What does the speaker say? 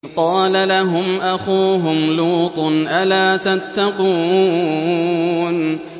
إِذْ قَالَ لَهُمْ أَخُوهُمْ لُوطٌ أَلَا تَتَّقُونَ